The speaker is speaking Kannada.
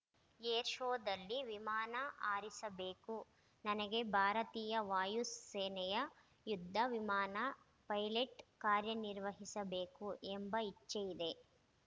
ಏರ್ ಶೋದಲ್ಲಿ ವಿಮಾನ ಹಾರಿಸಬೇಕು ನನಗೆ ಭಾರತೀಯ ವಾಯು ಸೇನೆಯ ಯುದ್ಧ ವಿಮಾನ ಪೈಲೆಟ್‌ ಕಾರ್ಯನಿರ್ವಹಿಸಬೇಕು ಎಂಬ ಇಚ್ಚೆ ಇದೆ